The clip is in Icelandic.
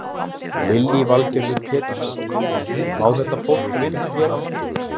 Lillý Valgerður Pétursdóttir: Má þetta fólk vinna hér á landi?